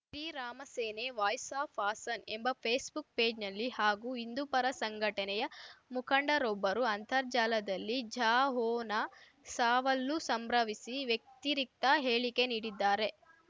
Sri Rama Sene voice of Haasan ಎಂಬ Facebook ಪೇಜ್‌ನಲ್ಲಿ ಹಾಗೂ ಹಿಂದುಪರ ಸಂಘಟನೆಯ ಮುಖಂಡರೊಬ್ಬರು ಅಂತರ್ಜಾಲದಲ್ಲಿ ಜಹೊನಾ ಸಾವಲ್ಲೂ ಸಂಭ್ರಮಿಸಿ ವ್ಯತಿರಿಕ್ತ ಹೇಳಿಕೆ ನೀಡಿದ್ದಾರೆ